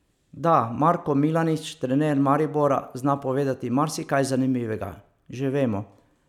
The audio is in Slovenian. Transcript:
Da Darko Milanič, trener Maribora, zna povedati marsikaj zanimivega, že vemo.